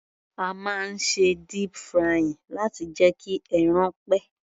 A máa ń ṣe deep frying láti jẹ́ kí ẹran pẹ́.